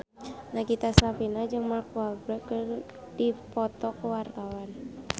Nagita Slavina jeung Mark Walberg keur dipoto ku wartawan